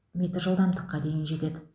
метр жылдамдыққа дейін жетеді